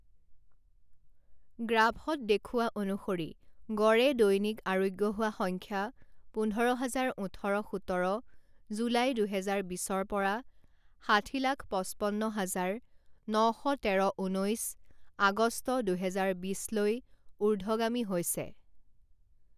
গ্ৰাফত দেখুওৱা অনুসৰি গড়ে দৈনিক আৰোগ্য হোৱা সংখ্যা পোন্ধৰ হাজাৰ ওঠৰ সোতৰ জুলাই দুহেজাৰ বিছৰ পৰা ষাঠি লাখ পঁচপন্ন হাজাৰ ন শ তেৰ ঊনৈছ আগষ্ট দুহেজাৰ বিছ লৈ ঊৰ্ধগামী হৈছে।